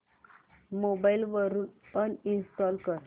mobile वरून uninstall कर